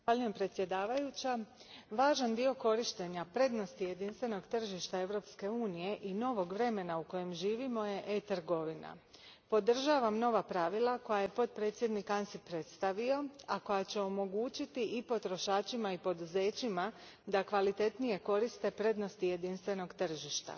Gospođo predsjednice, važan dio korištenja prednosti jedinstvenog tržišta Europske unije i novog vremena u kojem živimo je e trgovina. Podržavam nova pravila koja je potpredsjednik Ansip predstavio, a koja će omogućiti i potrošačima i poduzećima da kvalitetnije koriste prednosti jedinstvenog tržišta.